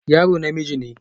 Yaro namiji ne